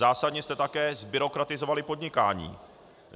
Zásadně jste také zbyrokratizovali podnikání.